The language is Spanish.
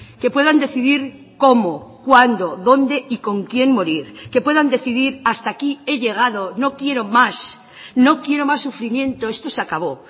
que puedan decidir cómo cuándo dónde y con quién morir que puedan decidir hasta aquí he llegado no quiero más no quiero más sufrimiento esto se acabó